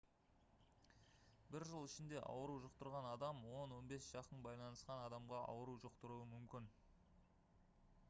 бір жыл ішінде ауру жұқтырған адам 10-15 жақын байланысқан адамға ауру жұқтыруы мүмкін